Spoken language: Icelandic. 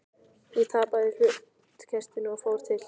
Ég tapaði hlutkestinu og fór til